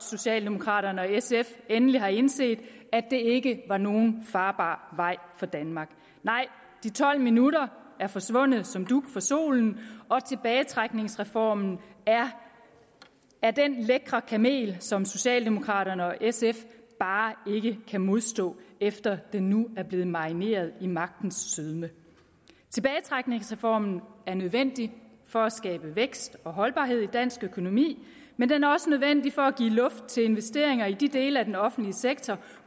socialdemokraterne og sf endelig har indset at det ikke var nogen farbar vej for danmark nej de tolv minutter er forsvundet som dug for solen og tilbagetrækningsreformen er den lækre kamel som socialdemokraterne og sf bare ikke kan modstå efter at den nu er blevet marineret i magtens sødme tilbagetrækningsreformen er nødvendig for at skabe vækst og holdbarhed i dansk økonomi men den er også nødvendig for at give luft til investeringer i de dele af den offentlige sektor